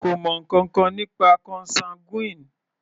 Kò mọ ǹkankan nípa consanguine.